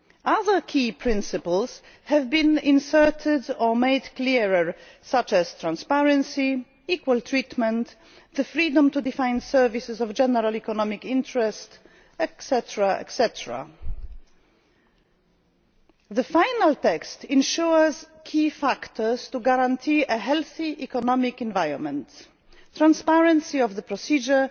tasks. Other key principles have been inserted or made clearer, such as transparency, equal treatment, the freedom to define services of general economic interest, etc. The final text ensures key factors to guarantee a healthy economic environment, the transparency of the procedure,